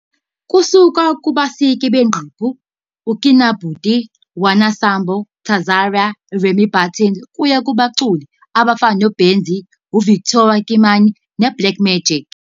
Kusuka kubasiki bengqephu uKinabuti, Wana Sambo, Tzar, Remi Buttons kuya kubaculi abafana noBez, Victoria Kimani neBlack Magic.